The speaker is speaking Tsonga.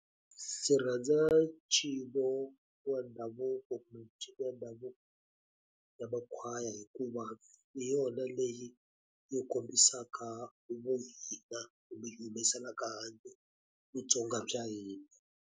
Ndzi rhandza ncino wa ndhavuko kumbe ya makhwaya hikuva hi yona leyi yi kombisaka vu hina, kumbe yi humesela handle vuTsonga bya hina.